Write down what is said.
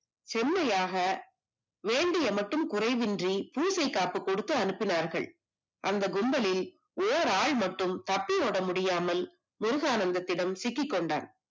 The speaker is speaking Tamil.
செம்மையாக வேண்டுவன மட்டும் குறைவின்றி பூசை காப்பு கொடுத்து அனுப்பினார்கள் அந்த கும்பலில் ஒரு ஆள் மட்டும் தப்பி ஓட முடியாமல் முருகானந்த தினம் சிக்கிக்கொண்டான்